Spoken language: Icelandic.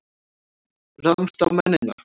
Ráðumst á mennina!